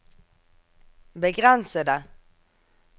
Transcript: begrensede